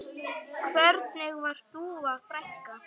Hvernig var Dúa frænka?